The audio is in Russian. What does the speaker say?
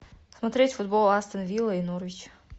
смотреть футбол астон вилла и норвич